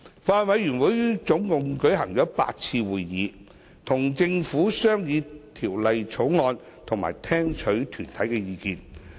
法案委員會總共舉行了8次會議，與政府商議《條例草案》及聽取團體的意見。